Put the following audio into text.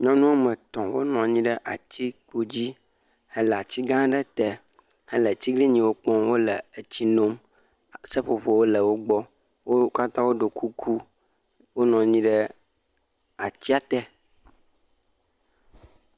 Nyɔnu woame tɔ̃, wonɔ anyi ɖe atikpo dzi le ati gã aɖe te hele atiglinyiwo kpɔm wole etsi num, seƒoƒowo le wo gbɔ. Wo katã woɖɔ kuku. Wonɔ anyi ɖe atia te.